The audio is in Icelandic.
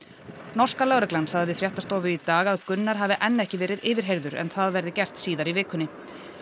norska lögreglan sagði við fréttastofu í dag að Gunnar hafi enn ekki verið yfirheyrður en það verði gert síðar í vikunni